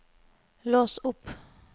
lås opp